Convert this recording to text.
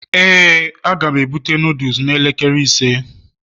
,Éè a ga m ebute noodles n'elekere ise